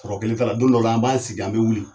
Kɔrɔ kelen t'a la don dɔw an b'a sigi an bɛ wuli